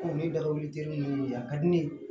Ɔ ni dawutigɛlen do a ka di ne ye